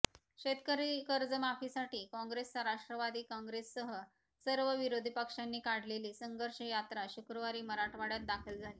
शेतकरी कर्जमाफीसाठी काँग्रेस राष्ट्रवादी काँग्रेससह सर्व विरोधी पक्षांनी काढलेली संघर्ष यात्रा शुक्रवारी मराठवाडय़ात दाखल झाली